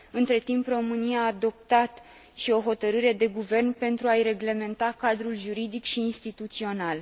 Între timp, România a adoptat și o hotărâre de guvern pentru a i reglementa cadrul juridic și instituțional.